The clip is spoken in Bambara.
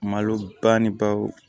Malo ba ni baw